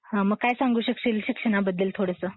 मग काय सांगू शकशील शिक्षणाबद्दल थोडंसं?